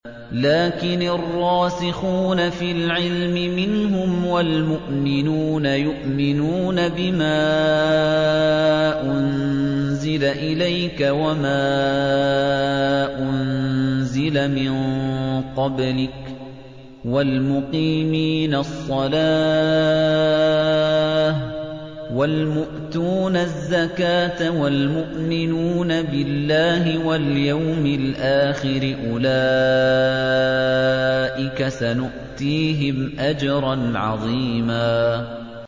لَّٰكِنِ الرَّاسِخُونَ فِي الْعِلْمِ مِنْهُمْ وَالْمُؤْمِنُونَ يُؤْمِنُونَ بِمَا أُنزِلَ إِلَيْكَ وَمَا أُنزِلَ مِن قَبْلِكَ ۚ وَالْمُقِيمِينَ الصَّلَاةَ ۚ وَالْمُؤْتُونَ الزَّكَاةَ وَالْمُؤْمِنُونَ بِاللَّهِ وَالْيَوْمِ الْآخِرِ أُولَٰئِكَ سَنُؤْتِيهِمْ أَجْرًا عَظِيمًا